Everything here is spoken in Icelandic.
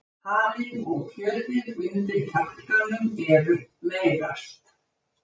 halinn og kjötið undir kjálkanum er meyrast